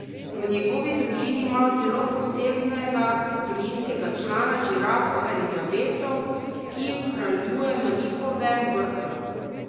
V njegovi družini imajo zelo posebnega družinskega člana, žirafo Elizabeto, ki kraljuje na njihovem vrtu.